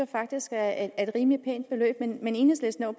faktisk er et rimelig pænt beløb men enhedslisten er